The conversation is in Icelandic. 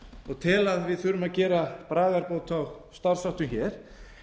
og tel að við þurfum að gera bragarbót á starfsháttum hér